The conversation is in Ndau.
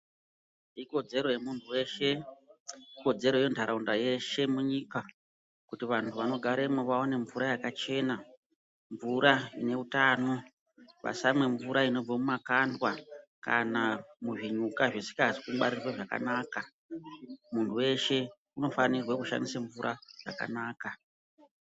Ikodzero yemuntu weshe, Ikodzero yentaraunda yeshe munyika kuti vantu vanogaremwo vaone mvura yakachena, mvura ine utano. vasamwe mvura inobve mumakandwa kana muzvinyuka zvisikazi kungwarirwe zvakanaka. Muntu weshe unofanirwe kushandise mvura yakanaka.